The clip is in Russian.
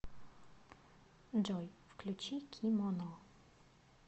джой включи кимоно